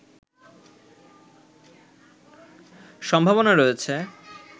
সম্ভাবনা রয়েছে